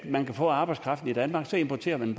man kan få arbejdskraften i danmark så importerer man